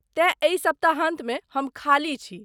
तेँ एहि सप्ताहान्तमे हम खाली छी।